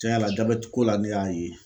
Cɛn yɛrɛ la jabɛti ko la ne y'a ye